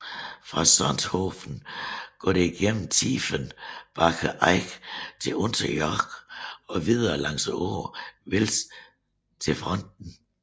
Fra Sonthofen går det igennem Tiefenbacher Eck til Unterjoch og videre langs åen Vils til Pfronten